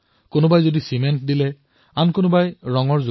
কিছুমানে চিমেণ্ট দিলে কিছুমানে ৰং দিলে